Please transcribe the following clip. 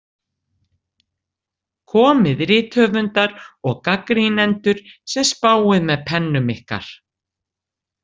Komið rithöfundar og gagnrýnendur sem spáið með pennum ykkar.